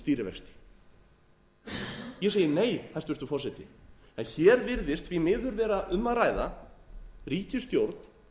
ég segi nei hæstvirtur forseti hér virðist því miður vera um að ræða ríkisstjórn